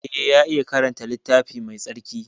Eh ya iya karanta littafi Mai tsarki.